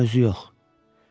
Amma özü yox.